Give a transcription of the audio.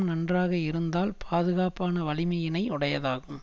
நன்றாக இருந்தால் பாதுகாப்பான வலிமையினை உடையதாகும்